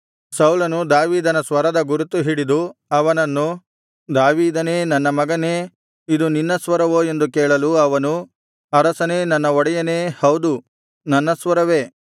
ಸೌಲನು ದಾವೀದನ ಸ್ವರದ ಗುರುತು ಹಿಡಿದು ಅವನನ್ನು ದಾವೀದನೇ ನನ್ನ ಮಗನೇ ಇದು ನಿನ್ನ ಸ್ವರವೋ ಎಂದು ಕೇಳಲು ಅವನು ಅರಸನೇ ನನ್ನ ಒಡೆಯನೇ ಹೌದು ನನ್ನ ಸ್ವರವೇ